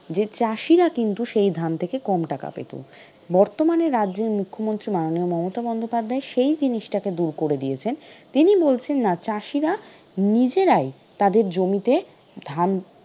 যে চাষিরা কিন্তু সেই ধান থেকে কম টাকা পেত। বর্তমানে রাজ্যের মুখ্যমন্ত্রী মাননীয় মমতা বন্দ্যোপাধ্যায় সেই জিনিসটাকে দূর করে দিয়েছেন। তিনি বলছেন না চাষিরা নিজেরাই তাদের জমিতে ধান,